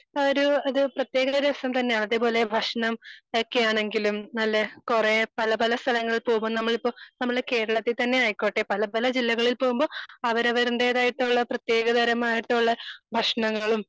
ഒരു ഒരു പ്രതേകതരം രസം തന്നെ അതേ പോലെ ഭക്ഷണം ഒക്കെ ആണെങ്കിലും നല്ല കുറേ പല പല സ്ഥലങ്ങൾ പോകും നമ്മളിപ്പോ നമ്മളെ കേരളത്തിൽ തന്നെ ആയിക്കോട്ടെ പല പല ജില്ലകളിൽ പോകുമ്പോൾ അവരവരുടേതായിട്ടുള്ള പ്രതേകതരം കള് ഭക്ഷണങ്ങളും,